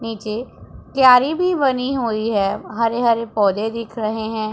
नीचे क्यारी भी बनी हुई है हरे हरे पौधे दिख रहे हैं।